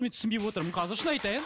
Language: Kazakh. мен түсінбей отырмын қазір шын айтайын